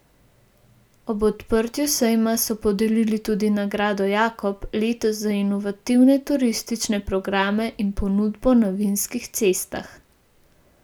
Ob odprtju sejma so podelili tudi nagrado jakob, letos za inovativne turistične programe in ponudbo na vinskih cestah.